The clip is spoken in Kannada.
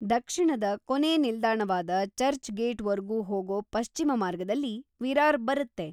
ದಕ್ಷಿಣದ ಕೊನೇ ನಿಲ್ದಾಣವಾದ ಚರ್ಚ್‌ ಗೇಟ್‌ವರ್ಗೂ ಹೋಗೋ ಪಶ್ಚಿಮ ಮಾರ್ಗದಲ್ಲಿ ವಿರಾರ್‌ ಬರತ್ತೆ.